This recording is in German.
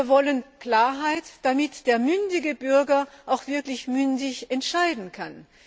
Wir wollen Klarheit, damit der mündige Bürger auch mündig entscheiden kann.